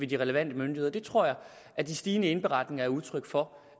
de relevante myndigheder det tror jeg at de stigende indberetninger er udtryk for